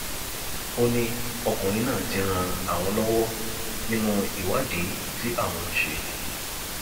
ó ní ọkùnrin náà ti ń ran àwọn lọwọ nínú ìwádìí tí àwọn ń ṣe